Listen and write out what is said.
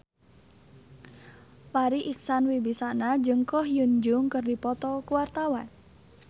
Farri Icksan Wibisana jeung Ko Hyun Jung keur dipoto ku wartawan